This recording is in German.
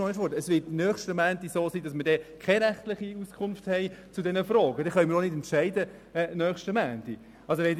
Wenn wir bis nächsten Montag keine rechtliche Auskunft zu diesen Fragen haben, können wir auch nicht entscheiden.